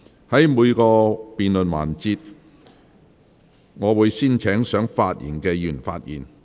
在每個辯論環節，我會先請想發言的議員發言。